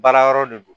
Baara yɔrɔ de do